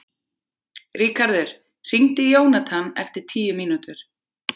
Ríkharður, hringdu í Jónathan eftir tíu mínútur.